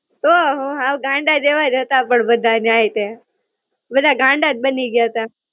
તો હું, હાવ ગાંડા જેવા જ હતા પણ બધાય ન્યાંય તે, બધા ગાંડા જ બની ગ્યા તા.